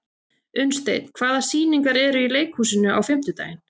Unnsteinn, hvaða sýningar eru í leikhúsinu á fimmtudaginn?